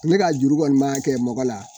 Ne ka juru kɔni maa kɛ mɔgɔ la